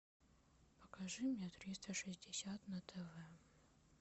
покажи мне триста шестьдесят на тв